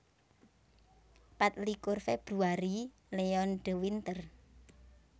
Patlikur Februari Leon de Winter